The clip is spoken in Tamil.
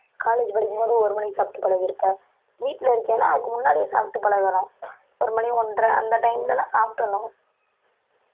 college படிக்கும்போது ஒரு மணிக்கு சாப்பிட்டு பழகியிருப்ப, வீட்டில இருக்கன்னா அதுக்கு முன்னாடியே சாப்பிட்டு பழகணும் ஒரு மணி ஒன்றை அந்த time லதான் சாப்பிட்டறணும்